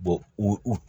u